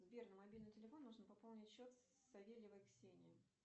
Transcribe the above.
сбер на мобильный телефон нужно пополнить счет савельевой ксении